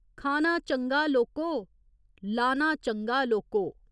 खाना चंगा लोको, लाना चंगा लोको।